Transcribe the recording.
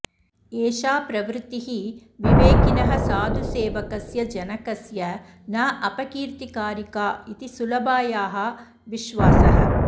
एषा प्रवृत्तिः विवेकिनः साधुसेवकस्य जनकस्य न अपकीर्तिकारिका इति सुलभायाः विश्वासः